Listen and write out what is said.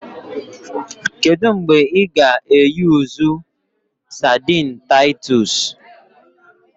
Kedu mgbe ị ga-eyusu sadini Taitos?